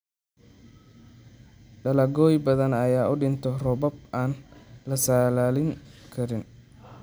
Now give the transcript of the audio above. Dalagyo badan ayaa u dhinta roobab aan la saadaalin karin.